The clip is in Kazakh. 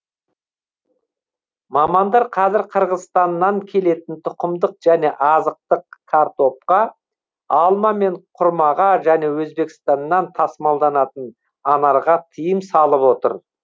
мамандар қазір қырғызстаннан келетін тұқымдық және азықтық картопқа алма мен құрмаға және өзбекстаннан тасымалданатын анарға тыйым салып отыр